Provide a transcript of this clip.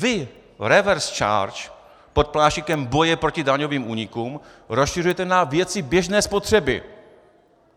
Vy reverse charge pod pláštíkem boje proti daňovým únikům rozšiřujete na věci běžné spotřeby!